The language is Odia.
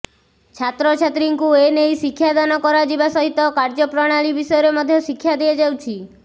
ଛାତ୍ରଛାତ୍ରୀଙ୍କୁ ଏ ନେଇ ଶିକ୍ଷାଦାନ କରାଯିବା ସହିତ କାର୍ଯ୍ୟପ୍ରଣାଳୀ ବିଷୟରେ ମଧ୍ୟ ଶିକ୍ଷା ଦିଆଯାଉଛି